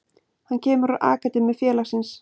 Hann kemur úr akademíu félagsins.